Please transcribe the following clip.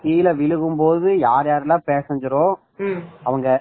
கீழ விழுகும் கீழே விழுகும் போது யார் யாரெல்லாம் passenger அவங்க